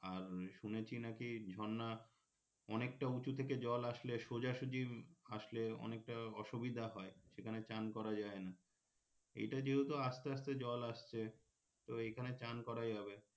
আর শুনেছি নাকি ঝর্না অনেকটা উঁচু থেকে জল আসলে সোজাসুজি আসলে অনেকটা অসুবিধা হয় সেখানে চান করা যায়না এইটা যেহেতু আস্তে আস্তে জল আসছে তো এইখানে চান করা যাবে